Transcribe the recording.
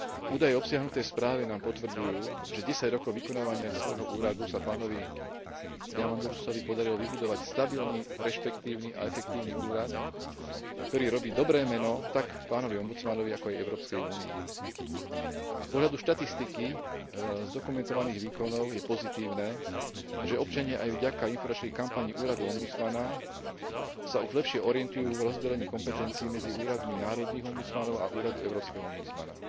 Údaje obsiahnuté v správe nám potvrdzujú, že za desať rokov vykonávania svojho úradu sa pánovi Diamandourosovi podarilo vybudovať stabilný, rešpektívny a efektívny úrad, ktorý robí dobré meno tak pánovi ombudsmanovi, ako aj Európskej únii. Z pohľadu štatistiky zdokumentovaných výkonov je pozitívne, že občania aj vďaka informačnej kampani úradu ombudsmana sa už lepšie orientujú v rozdelení kompetencií medzi úradmi národných ombudsmanov a úradu európskeho ombudsmana.